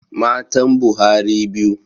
Matan Buhari biyu.